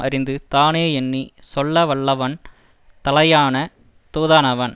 அறிந்து தானேயெண்ணிச் சொல்லவல்லவன் தலையான தூதானாவான்